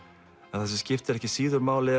en það sem skiptir ekki síður máli